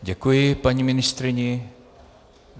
Děkuji paní ministryni.